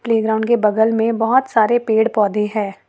ये ग्राउंड के बगल में बहुत सारे पेड़ पौधे है।